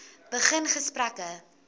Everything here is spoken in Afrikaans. begin gesprekke